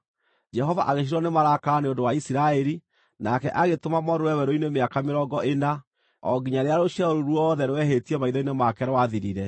Jehova agĩcinwo nĩ marakara nĩ ũndũ wa Isiraeli, nake agĩtũma morũũre werũ-inĩ mĩaka mĩrongo ĩna, o nginya rĩrĩa rũciaro rũu ruothe rwehĩtie maitho-inĩ make rwathirire.